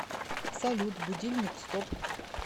салют будильник стоп